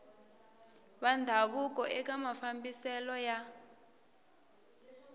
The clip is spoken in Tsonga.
va ndhavuko eka mafambiselo ya